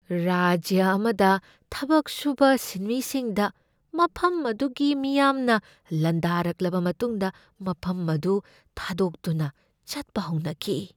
ꯔꯥꯖ꯭ꯌ ꯑꯃꯗ ꯊꯕꯛ ꯁꯨꯕ ꯁꯤꯟꯃꯤꯁꯤꯡꯗ ꯃꯐꯝ ꯑꯗꯨꯒꯤ ꯃꯤꯌꯥꯝꯅ ꯂꯥꯟꯗꯥꯔꯛꯂꯕ ꯃꯇꯨꯡꯗ ꯃꯐꯝ ꯑꯗꯨ ꯊꯥꯗꯣꯛꯇꯨꯅ ꯆꯠꯄ ꯍꯧꯅꯈꯤ ꯫